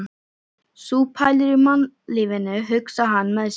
Sú pælir í mannlífinu, hugsar hann með sér.